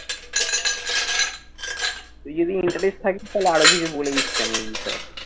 তুই যদি interest থাকিস তাহলে আরো কিছু বলে দিচ্ছি আমি এই বিষয়ে।